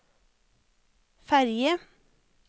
ferge